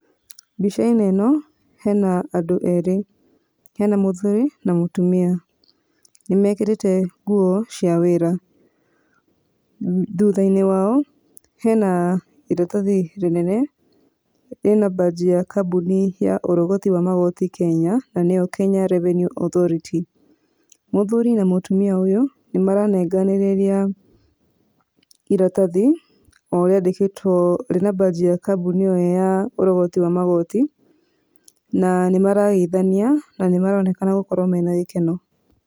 Mbica-inĩ ĩno hena andũ erĩ, hena mũthuri na mũtumia, nĩ mekĩrĩte nguo cia wĩra. Thutha-inĩ wao hena iratathi rĩnene rĩna mbanji ya kambuni ya ũrogoti wa magoti Kenya nĩyo Kenya revenue authority. Mũthuri na mũtumia ũyũ nĩ maranenganĩrĩria iratathi o riandĩkĩtwo, rĩna mbanji ya kambuni ĩo ya ũrogoti wa magoti na nĩ marageithania na nĩ maronekana gũkorwo mena gĩkeno.